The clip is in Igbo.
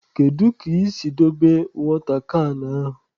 Kedu ka i si dobe wọta kan ahụ?